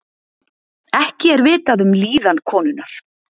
Ekki er vitað um líðan konunnar